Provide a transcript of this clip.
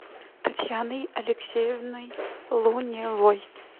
татьяной алексеевной луневой